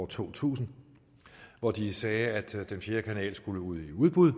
to tusind hvor de sagde at den fjerde kanal skulle ud i udbud